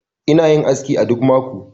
Ina yin aski a duk mako